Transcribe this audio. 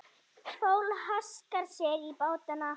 Fólk haskar sér í bátana.